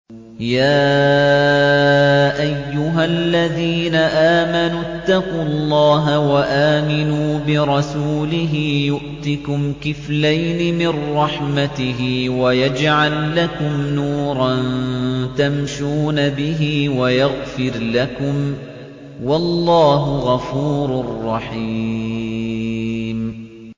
يَا أَيُّهَا الَّذِينَ آمَنُوا اتَّقُوا اللَّهَ وَآمِنُوا بِرَسُولِهِ يُؤْتِكُمْ كِفْلَيْنِ مِن رَّحْمَتِهِ وَيَجْعَل لَّكُمْ نُورًا تَمْشُونَ بِهِ وَيَغْفِرْ لَكُمْ ۚ وَاللَّهُ غَفُورٌ رَّحِيمٌ